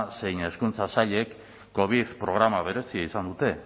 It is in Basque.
zein hezkuntza sailek covid programa berezia izan dute